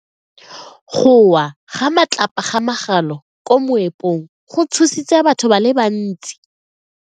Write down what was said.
Go wa ga matlapa a magolo ko moepong go tshositse batho ba le bantsi.